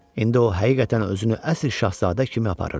İndi o həqiqətən özünü əsl şahzadə kimi aparırdı.